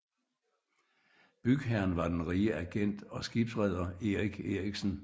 Bygherren var den rige agent og skibsreder Erich Erichsen